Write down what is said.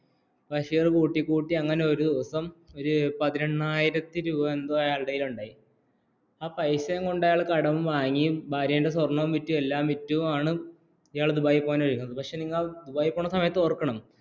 ബഷീർ കൂട്ടികൂട്ടി അങ്ങനെ ഒരു ദിവസം ഒരു പതിനെന്നയായിരത്തി രൂപ യെതൊ അയാളുടെ കൈല്ലുണ്ടായി ആ പൈസയുംകൊണ്ട് അയാൾ കടംവാങ്ങി ഭാര്യയുടെ സ്വർണ്ണം വിറ്റു യെല്ലാം വിറ്റു ആണ് എയാൾ ദുബായ് പോക്കാന് ഒരുങ്ങുന്നത് പക്ഷേ ഇയാൾ ദുബായി പോണ സമയത്ത് ഓർക്കണം